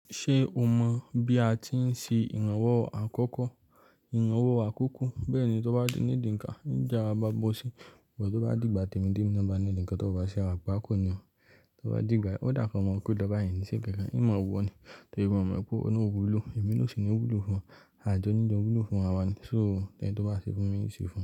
Ṣé o mọ̀ bí a ti ń ṣe ìrànwọ́ àkọ́kọ́? Ìrànwọ́ àkọ́kọ́ bẹ́ẹ̀ ni, tó bá ní needi nǹkan, n jẹ́ ara mo gbó síi. Tó bá dìgbà tí emi ti emi náà ba needi nǹkan, tó bá ṣe agbako ni o. Tó bá dìgbà, ó dà fún ọmọkùnrin tó bá yìn sí pẹpẹ, ìmọ̀ wọn ni. Tí o mọ̀ mọ̀ pè ìwà òwúlò, èmi nà o sì ni wúlò fún ó a jọ ní jo wúlò fún ara wa ni, so tẹ́lẹ̀ tó bá ṣe fún mi, mo sì ṣe fún ẹ.